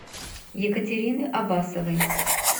екатерины абасовой